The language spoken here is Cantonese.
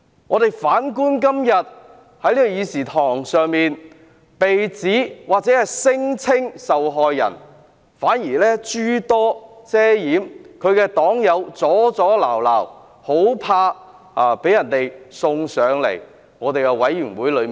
我們反觀今天在會議廳，所謂的受害人反而遮遮掩掩，他的黨友不斷阻撓，深怕有關事宜交付調查委員會處理。